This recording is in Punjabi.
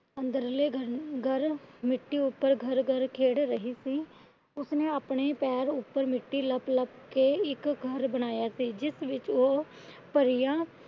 ਅੰਦਰਲੇ ਘਰ ਘਰ ਮਿੱਟੀ ਉੱਤੇ ਘਰ ਘਰ ਖੇਡ ਰਹੀ ਸੀ। ਉਸਨੇ ਆਪਣੇ ਪੈਰ ਉੱਪਰ ਮਿੱਟੀ ਲੱਪ ਲੱਪ ਕੇ ਇੱਕ ਘਰ ਬਾਣੀਏਆ ਸੀ। ਜਿਸ ਵਿੱਚ ਉਹ ਪਰੀਆਂ